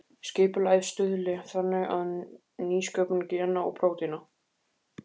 Skipulagið stuðli þannig að nýsköpun gena og prótína.